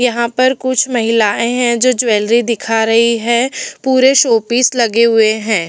यहाँ पर कुछ महिलाएं हैं जो कुछ ज्वैलरी दिखा रही हैं पूरे शोपीस लगे हुए हैं।